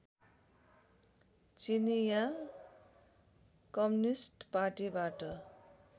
चिनियाँ कम्युनिष्ट पार्टीबाट